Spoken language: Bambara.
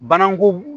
Bananku